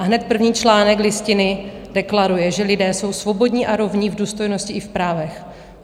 A hned první článek Listiny deklaruje, že lidé jsou svobodní a rovní v důstojnosti i v právech.